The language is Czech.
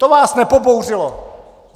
To vás nepobouřilo.